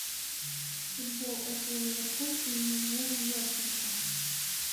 футбол апл ливерпуль и вулверхэмптон